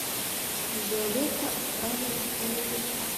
виолетта отправилась на небеса